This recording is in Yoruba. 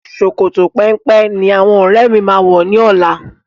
Sòkòtò péńpé ní àwọn ọ́rẹ́ mi máa wọ̀ ní ọlá.